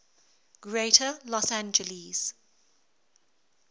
greater los angeles